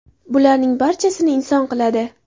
Bularning barchasini inson qiladi.